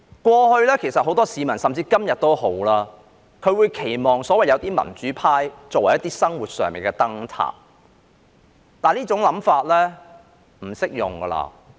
過去，甚至今天也好，很多市民期望有些所謂民主派能作為生活上的燈塔，但這種想法已不適用。